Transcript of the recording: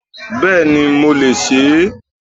Béèni mo lè se é